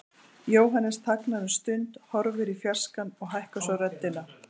Jóhannes þagnar um stund, horfir í fjarskann og hækkar svo röddina.